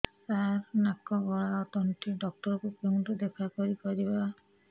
ସାର ନାକ ଗଳା ଓ ତଣ୍ଟି ଡକ୍ଟର ଙ୍କୁ କେଉଁଠି ଦେଖା କରିପାରିବା